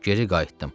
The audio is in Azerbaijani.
Geri qayıtdım.